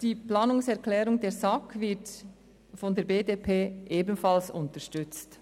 Die Planungserklärung der SAK wird von der BDP ebenfalls unterstützt.